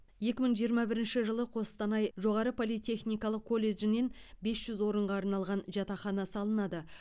екі мың жиырма бірінші жылы қостанай жоғары политехникалық колледжінен бес жүз орынға арналған жатақхана салынады